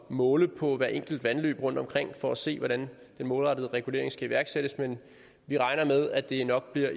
måle på hvert enkelt vandløb rundtomkring for at se hvordan den målrettede regulering skal iværksættes men vi regner med at det nok bliver